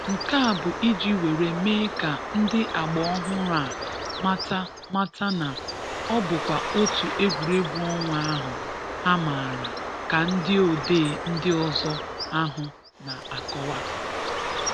Nke a bụ iji were mee ka ndị agba ọhụrụ a mata mata na ọ bụkwa otu egwuregwu ọnwa ahụ ha maara ka ndị odee ndị ọzọ ahụ na-akọwa.